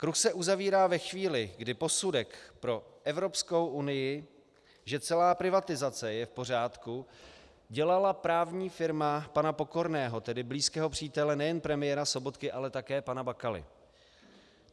Kruh se uzavírá ve chvíli, kdy posudek pro Evropskou unii, že celá privatizace je v pořádku, dělala právní firma pana Pokorného, tedy blízkého přítele nejen premiéra Sobotky, ale také pana Bakaly.